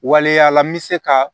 Waleya la n bɛ se ka